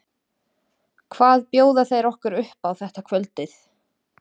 Hvað bjóða þeir okkur upp á þetta kvöldið?